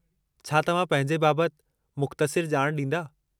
छा तव्हां पंहिंजे बाबतु मुख़्तसिरु ॼाण ॾींदा?